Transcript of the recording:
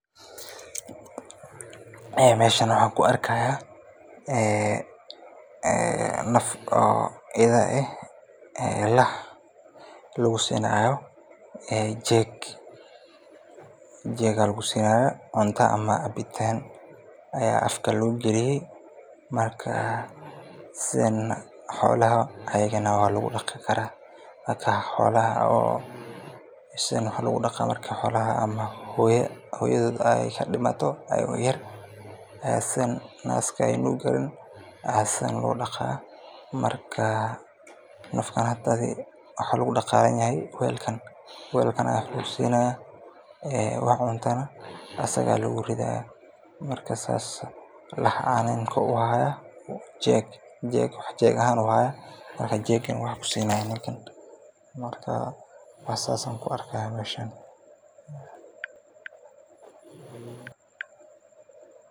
Meeshan waxa kuarkaya naf oo ido eeh oo lusinayo jeeg oo cunta iyo cabitan aya afka logaliye marka sidana xolaha walugudaqi kara marka xolaha sidan waxa lugudaqa markey hoyadod dimato oo aya naska ey nugi karin aya sidan lugudaqa marka nafkan hda welkan aya wax lugusiya oo welkan aya luguridaya oo ninka wax jeeg ahan ayu haya uu wax kusinaya marka sida ayan kuarka meeshan.